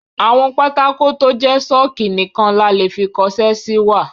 Àwọn pátákó tó jẹ́ ṣọ́ọ̀kì nìkan la lè fi kọṣẹ́ si wà.